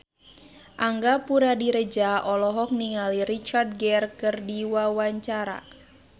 Angga Puradiredja olohok ningali Richard Gere keur diwawancara